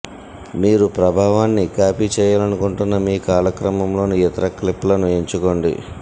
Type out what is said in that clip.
మీరు ప్రభావాన్ని కాపీ చేయాలనుకుంటున్న మీ కాలక్రమంలోని ఇతర క్లిప్లను ఎంచుకోండి